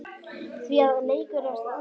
Því að leikur er það.